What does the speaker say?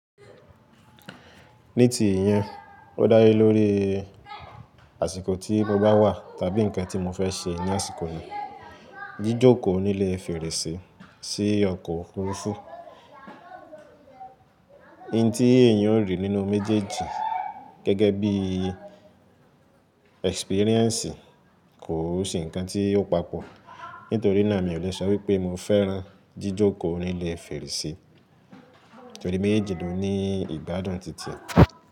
Ní ti ìyẹn, ó dále lórí àsìkò tí mo bá wà tàbí ǹnkan tí mo fẹ́ ṣe ní àsìkò náà. Jíjókòó nílé fèrèsé sí ọkọ̀ Òfurufú, n tí èèyàn o rí nínú méjèèjì gẹ́gẹ́ bí i ẹksipíréǹsì kò se nǹkan tí ó papọ̀. Nítorí náà mi ò lè sọ wípé mo fẹ́ran jíjókòó nílé fèrèsé, nítorí méjèèjì ló ní ìgbádùn titi e.